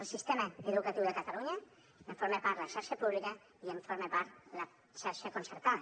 del sistema educatiu de catalunya en forma part de la xarxa pública i en forma part la xarxa concertada